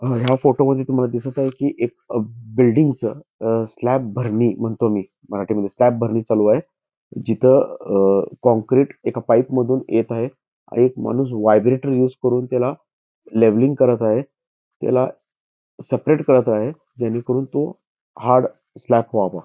ह्या फोटोमध्ये तुम्हाला दिसत आहे कि एक बिल्डिंग च स्लॅप भरणी चालू आहे जिथे काँक्रीट एका पाईप मधून येत आहे एक माणूस वाइब्रेटर युस करून त्याला लेवलिंग करत आहे त्याला सेपरेट करत आहे जेणे करून तो हार्ड स्लॅप व्हावं.